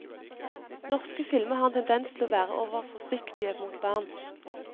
Norske filmer har en tendens til å være overforsiktige mot barn.